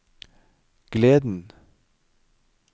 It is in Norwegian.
gleden